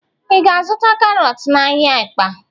Ị ga-azụta karọt n'ahịa Ịkpa?